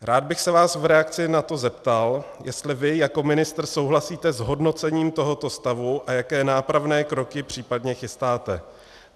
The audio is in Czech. Rád bych se vás v reakci na to zeptal, jestli vy jako ministr souhlasíte s hodnocením tohoto stavu a jaké nápravné kroky případně chystáte.